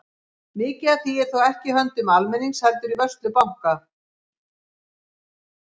Mikið af því er þó ekki í höndum almennings heldur í vörslu banka.